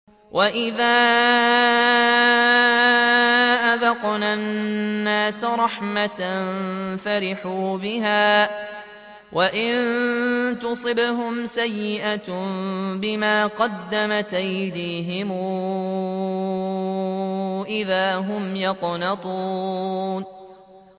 وَإِذَا أَذَقْنَا النَّاسَ رَحْمَةً فَرِحُوا بِهَا ۖ وَإِن تُصِبْهُمْ سَيِّئَةٌ بِمَا قَدَّمَتْ أَيْدِيهِمْ إِذَا هُمْ يَقْنَطُونَ